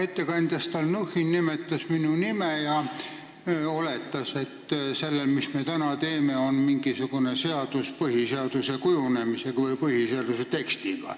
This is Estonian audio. Ettekandja Stalnuhhin nimetas minu nime ja oletas, et see, mis me täna teeme, on mingisugune seadus, mis on seotud põhiseaduse kujunemise või tekstiga.